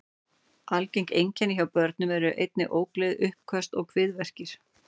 Algeng einkenni hjá börnum eru einnig ógleði, uppköst og kviðverkir.